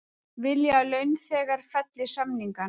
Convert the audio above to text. Vilja að launþegar felli samningana